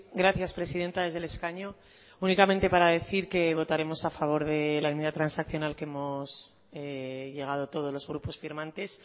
gracias presidenta desde el escaño únicamente para decir que votaremos a favor de la enmienda transaccional que hemos llegado todos los grupos firmantes